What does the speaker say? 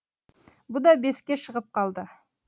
бұ да беске шығып қалды